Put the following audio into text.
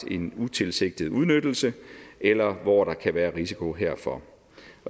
en utilsigtet udnyttelse eller hvor der kan være risiko herfor